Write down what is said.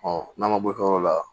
n'an ma bɔ yɔrɔ la